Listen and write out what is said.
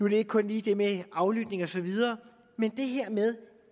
det ikke kun lige det med aflytning og så videre men det her med